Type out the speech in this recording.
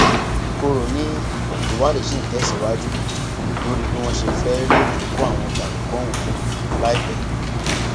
ìkorò ni ìwádìí ṣì ń tẹsíwájú lórí bí wọn ṣe fẹẹ rí ìyókù àwọn jàǹdùkú ọhún mú láìpẹ